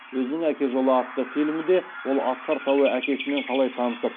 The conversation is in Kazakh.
өзінің әке жолы атты фильмінде ол асқар тауы әкесімен қалай танысып